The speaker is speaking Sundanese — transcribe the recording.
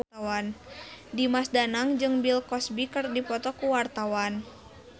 Dimas Danang jeung Bill Cosby keur dipoto ku wartawan